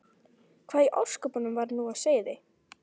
Hvað í ósköpunum var nú á seyði?